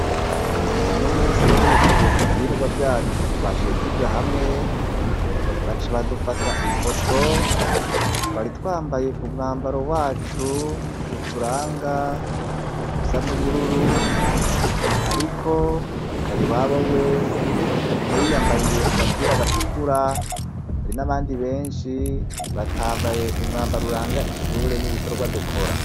Unomusi duhejeje ivyigwa vyacu twaciye tuja hamwe baca badufata ifoto. Twari twambaye umwambaro wacu uturanga usa n'ubururu ariko Kariwabo we yagumye yiyambariye agapira gatukura. Hari n'abandi beshi batambaye umwambaro uranga ishure n'ibikorwa dukora.